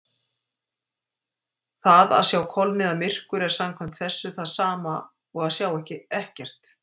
Það að sjá kolniðamyrkur er samkvæmt þessu það sama og að sjá ekkert.